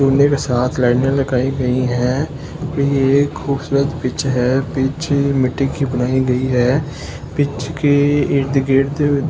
के साथ लाइनें लगाई गई हैं ये खूबसूरत पिच है पिच मिट्टी की बनाई गई है पिच के इर्द गिर्द --